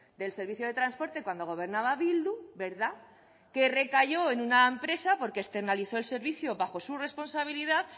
del servicio de transporte cuando gobernaba bildu verdad que recayó en una empresa porque externalizó el servicio bajo su responsabilidad